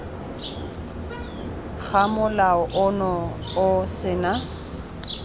ga molao ono o sena